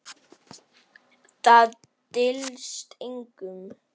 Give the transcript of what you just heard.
Það dylst engum.